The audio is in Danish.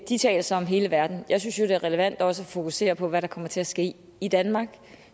de taler så om hele verden jeg synes jo det er relevant også at fokusere på hvad der kommer til at ske i danmark